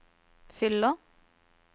fyller